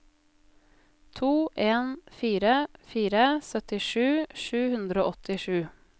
to en fire fire syttisju sju hundre og åttisju